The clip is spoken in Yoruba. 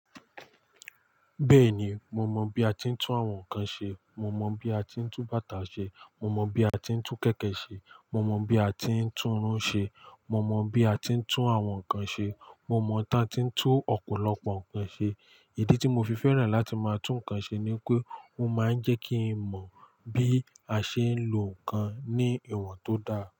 Bẹ́ẹ̀ni, mo mọ bí a ti ń tún awon ǹkan ṣe, mo mọ bí a ti ń tún bàtà ṣe, mo mọ bí a ti ń tún kẹ̀kẹ́ ṣe, mo mọ bí a ti ń tún irun ṣe, mo mọ bí a ti ń tún awon ǹkan ṣe, mo mọ ta tí ń tún ọ̀pọ̀lọpọ̀ ǹkan ṣe. Ìdí tí mo fi fẹ́ràn láti máa tún ǹkan ṣe ni pé ó máa ń jẹ́ kí n mọ bí a ṣe ń lo ǹkan ní ìwọ̀n tó dáa.